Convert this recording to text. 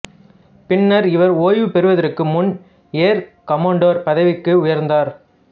பின்னர் இவர் ஓய்வு பெறுவதற்கு முன்பு ஏர் கமடோர் பதவிக்கு உயர்ந்தார்